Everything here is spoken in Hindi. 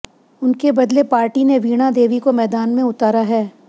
उनके बदले पार्टी ने वीणा देवी को मैदान में उतारा है